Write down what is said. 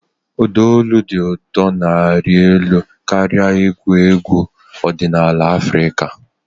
Ụda olu dị ụtọ na-arị elu karịa egwu egwu ọdịnala Afrịka.